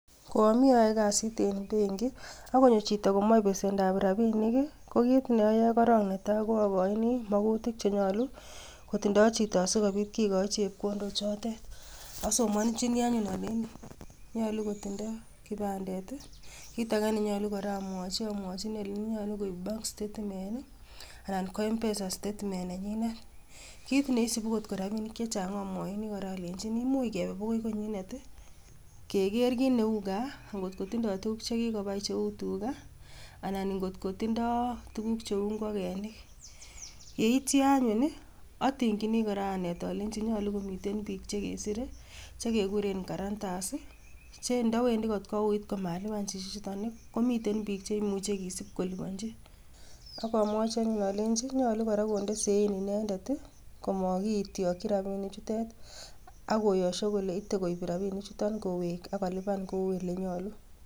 Koami I ayoe kasiit en benkit, akonyoo chito komoche besendan rabinik.ko kit neoyoe korong netai ko akochini makuutik chenyoolu kotindo chito asikobiit kikochii chepkondok chotoon. Asomonyini anyun alenyii nyolu kotindoi kipandet i,kitage kora nenyoolu amwochi amwochi alenyiini nyolu komiten mpesa statement nenyinet. Kit neisubu angot ko rabinik chechang amwochini alenyini much kebee bokoi the konyinet, keger kit neu gaa, akongot kotindoi tuguk chekikobai cheu tugaa. Anan kotindo ingogenik, yeityoo anyun i,atingyin anet alenyii nyolu komiten biik chekisiir chekekuuren guarantors. Cheindowendii kot kouit komalipan besendo nii, koimuch komiten biik chekisibi koliponyii. Ak amwochi anyun olenyii nyolu kora kondee sein inedet i,komakityokyi rabinichutet, akoyosho kole ite koib rabinichotet, kowek ak kolipan kou elenyoolu.